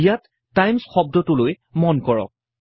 ইয়াত টাইমচ্ শব্দটোলৈ মন কৰক